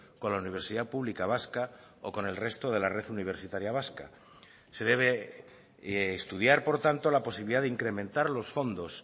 con la universidad pública vasca o con el resto de la red universitaria vasca se debe estudiar por tanto la posibilidad de incrementar los fondos